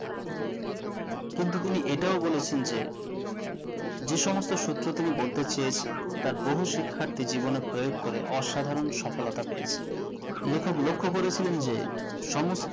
কিন্তু তিনি এটাও বলেছেন যে যে সমস্ত সূত্র তিনি বলতে চেয়েছেন তা বহু শিক্ষাথী জীবনে প্রয়োগ করে অসাধারণ সফলতা পেয়েছে লিখক লক্ষ্য করেছিলেন যে সমস্ত